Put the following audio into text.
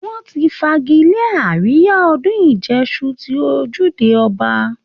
Wọ́n ti fagilé àríyá ọdún ìjẹṣu ti ojúde ọba